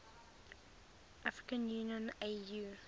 african union au